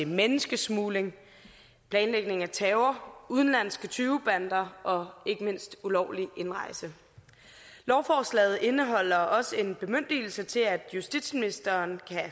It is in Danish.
menneskesmugling planlægning af terror udenlandske tyvebander og ikke mindst ulovlig indrejse lovforslaget indeholder også en bemyndigelse til at justitsministeren